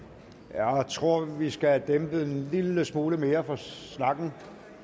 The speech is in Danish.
jeg tror vi skal have dæmpet en lille smule mere for snakken